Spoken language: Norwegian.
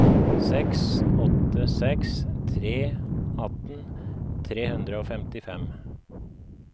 seks åtte seks tre atten tre hundre og femtifem